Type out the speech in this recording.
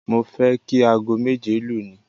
Mo fẹ́ kí aago méje lu ni